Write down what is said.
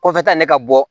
Kɔfɛ ta ne ka bɔ